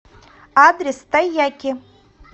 адрес тайяки